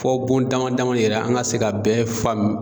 Fo bon dama dama yɛrɛ an ka se k'a bɛɛ faamu